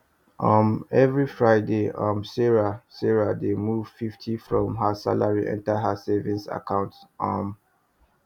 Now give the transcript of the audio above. um every friday um sarah sarah dey move fifty from her salary enter her savings account um